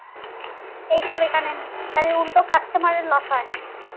এইসব এখানে নেই আরে উল্টে customer এর